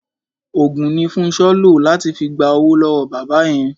Òògùn ni Fúnṣọ́ lò láti fi gba owó lọ́wọ́ bàbá yẹn.